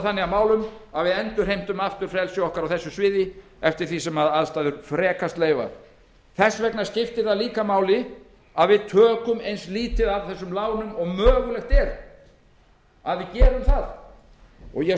þannig að málum að við endurheimtum aftur frelsi okkar á þessu sviði eftir því sem aðstæður frekast leyfa það skiptir líka máli að við tökum eins lítið af þessum lánum og mögulegt er ég